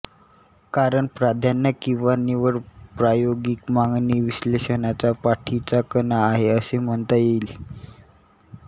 कारण प्राधान्य किवा निवड प्रायोगिक मागणी विश्लेषणाचा पाठीचा कणा आहे असे म्हणता येईल